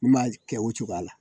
N m'a kɛ o cogoya la.